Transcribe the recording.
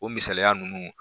O misaliya nunnu